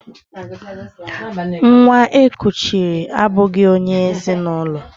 Nwa e kuchiri abụghị onye ezi na ụlọ